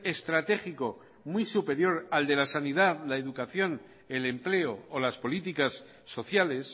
estratégico muy superior al de la sanidad la educación el empleo o las políticas sociales